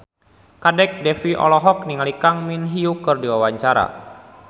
Kadek Devi olohok ningali Kang Min Hyuk keur diwawancara